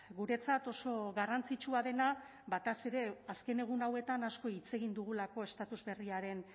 guretzat oso garrantzitsua dena batez ere azken egun hauetan asko hitz egin dugulako estatus berriaren